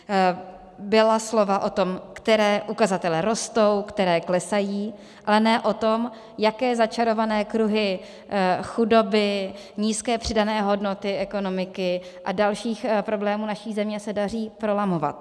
Byla slova o tom, které ukazatele rostou, které klesají, ale ne o tom, jaké začarované kruhy chudoby, nízké přidané hodnoty ekonomiky a dalších problémů naší země se daří prolamovat.